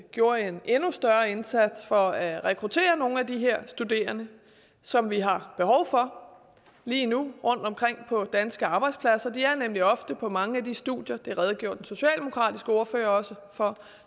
gjorde en endnu større indsats for at rekruttere nogle af de her studerende som vi har behov for lige nu rundtomkring på danske arbejdspladser de er nemlig ofte på mange af de studier det redegjorde den socialdemokratiske ordfører også for